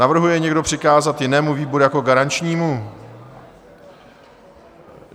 Navrhuje někdo přikázat jinému výboru jako garančnímu?